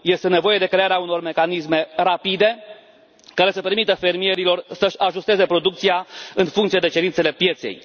Este nevoie de crearea unor mecanisme rapide, care să permită fermierilor să și ajusteze producția în funcție de cerințele pieței.